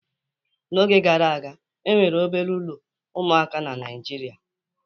N'oge gara aga, e nwere obere ụlọ ụmụaka na Naịjirịa